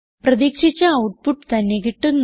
പ്രതീക്ഷിച്ച ഔട്ട്പുട്ട് തന്നെ കിട്ടുന്നു